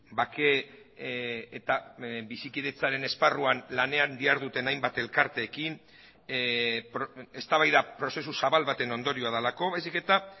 bake eta bizikidetzaren esparruan lanean diharduten hainbat elkarteekin eztabaida prozesu zabal baten ondorioa delako baizik eta